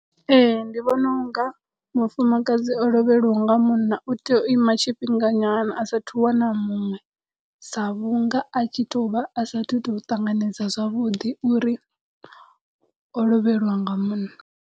Ee ndi vhona unga mufumakadzi o lovhelwaho nga munna u tea u ima tshifhinga nyana a sathu wana muṅwe sa vhunga a tshi to vha a sathu to ṱanganedza zwavhuḓi uri o lovhelwa nga munna.